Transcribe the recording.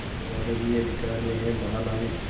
तुम्हारे ही अधिकार में है महानाविक